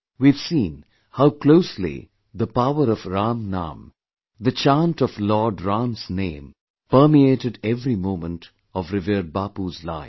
We have seen how closely the power of 'Ram Naam', the chant of Lord Ram's name, permeated every moment of revered Bapu's life